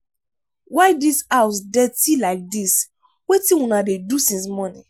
why dis house dirty like dis wetin una dey do since morning?